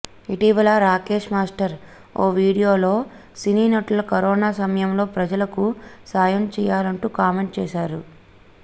ఇటీవల రాకేష్ మాస్టర్ ఓ వీడియోలో సినీ నటుల కరోనా సమయంలో ప్రజలకు సాయం చేయాలంటూ కామెంట్ చేశాడు